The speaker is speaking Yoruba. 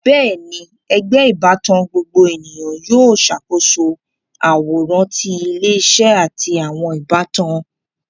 Bẹẹni, ẹgbẹ ìbátan gbogbo ènìyàn yóò ṣàkóso àwòrán ti ilé-isé àti àwọn ìbátan